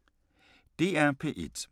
DR1